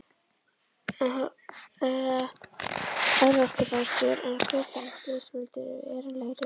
Örorkubætur eru greiddar ef slys veldur varanlegri örorku.